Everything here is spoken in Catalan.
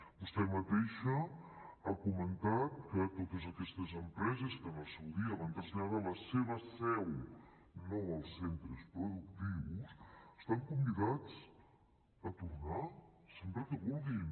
vostè mateixa ha comentat que totes aquestes empreses que en el seu dia van traslladar la seva seu no els centres productius estan convidades a tornar sempre que vulguin